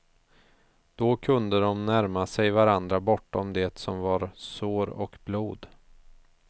Då kunde de närma sig varandra bortom det som var sår och blod.